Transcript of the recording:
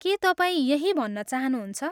के तपाईँ यही भन्न चाहनुहुन्छ?